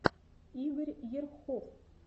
игорь ерхов